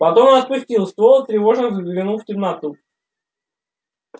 потом он опустил ствол тревожно взглянул в темноту